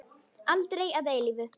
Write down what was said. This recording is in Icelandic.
Aldrei að eilífu.